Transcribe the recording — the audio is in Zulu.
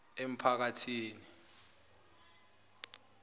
emphakathini